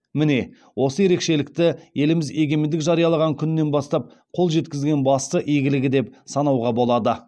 міне осы ерекшелікті еліміз егемендік жариялаған күннен бастап қол жеткізген басты игілігі деп санауға болады